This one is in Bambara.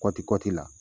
Kɔti kɔti la